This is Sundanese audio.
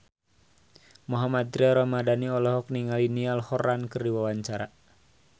Mohammad Tria Ramadhani olohok ningali Niall Horran keur diwawancara